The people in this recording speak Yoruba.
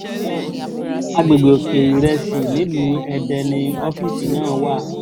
àgbègbè òkè-ìrẹsì nílùú èdè ni ọ́fíìsì náà wà